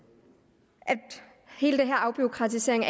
hele den her afbureaukratisering